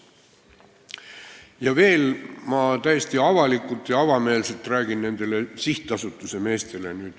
Ja veel ma täiesti avalikult ja avameelselt ütlen nendele sihtasutuse meestele.